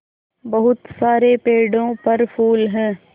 बहुत सारे पेड़ों पर फूल है